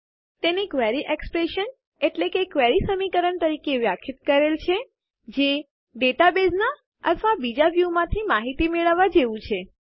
તેને query expression query સમીકરણ તરીકે વ્યાખ્યાયિત કરેલ છે જે આમ ટેબલો કોષ્ટકોમાંથી માહિતી મેળવવાં જેવું અથવા ડેટાબેઝમાંથી બીજા વ્યુંસ મેળવવાં જેવું છે